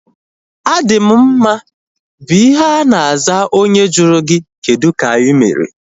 A dị m mma bụ ihe ana aza onye jụrụ gị kedụ ka ịmere